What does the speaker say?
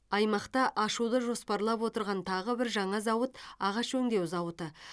аймақта ашуды жоспарлап отырған тағы бір жаңа зауыт ағаш өңдеу зауыты